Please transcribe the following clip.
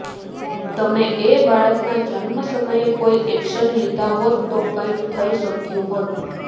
તમે એ બાળકના જન્મ સમયે કોઈ એક્શન લીધા હોત તો કંઇક થઇ શક્યું હોત